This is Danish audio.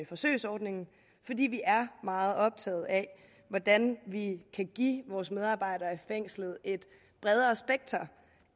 forsøgsordningen fordi vi er meget optaget af hvordan vi kan give vores medarbejdere i fængslerne et bredere spekter